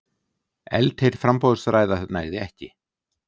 Eldheit framboðsræða nægði ekki